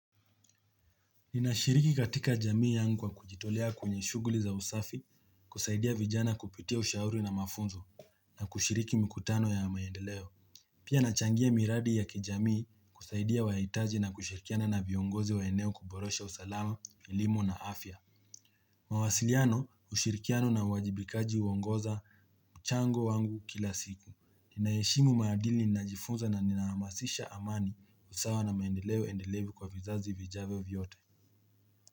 Ninashiriki katika jamii yangu kwa kujitolea kwenye shughuli za usafi, kusaidia vijana kupitia ushauri na mafunzo na kushiriki mikutano ya maendeleo Pia nachangia miradi ya kijamii kusaidia wanayohitaji na kushirikiana na viongozi wa eneo kuboresha usalama, elimu na afya mawasiliano, ushirikiano, na uwajibikaji huongoza mchango wangu kila siku. Ninaheshimu maadili ninajifunza na ninahamasisha amani, usawa, na maendeleo endelevu kwa vizazi vijavyo vyote.